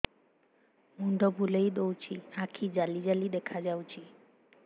ମୁଣ୍ଡ ବୁଲେଇ ଦଉଚି ଆଖି ଜାଲି ଜାଲି ଦେଖା ଯାଉଚି